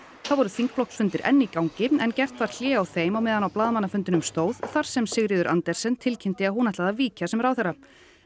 þá voru þingflokksfundir enn í gangi en gert var hlé á þeim meðan á blaðamannafundinum stóð þar sem Sigríður Andersen tilkynnti að hún ætlaði að víkja sem ráðherra